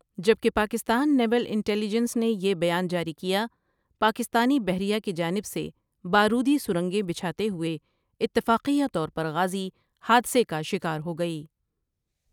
جبکہ Pakistan naval intelligence نے یہ بیان جاری کیا پاکستانی بحریہ کی جانب سے بارودی سرنگیں بچھاتے ہوئے اتفاقیہ طورپر غازی حادثے کا شکار ہو گئی۔